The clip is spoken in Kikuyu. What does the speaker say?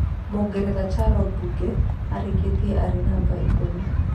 Mũngeretha Charo Bunge arĩkirie arĩ namba ikũmi.